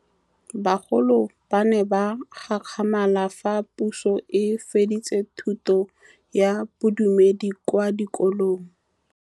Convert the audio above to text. Bagolo ba ne ba gakgamala fa Pusô e fedisa thutô ya Bodumedi kwa dikolong.